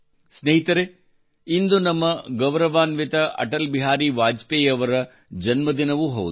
ಸ್ನೇಹಿತರೇ ಇಂದು ನಮ್ಮ ಗೌರವಾನ್ವಿತ ಅಟಲ್ ಬಿಹಾರಿ ವಾಜಪೇಯಿ ಅವರ ಜನ್ಮದಿನವೂ ಹೌದು